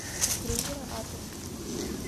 у крюгера адрес